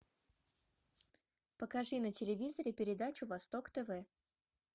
покажи на телевизоре передачу восток тв